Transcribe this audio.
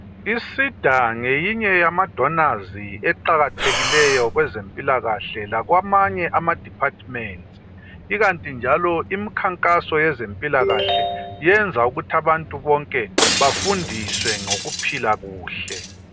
I SIDA ngeyinye yamadonazi eqakathekileyo kwezempilakahle lakwamanye ama departments ikanti njalo imikhankaso yezempilakahle yenza ukuthi abantu bonke bafundiswe ngokuphila kuhle.